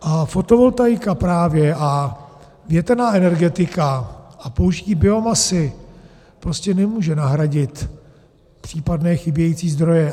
A fotovoltaika právě a větrná energetika a použití biomasy prostě nemůže nahradit případné chybějící zdroje.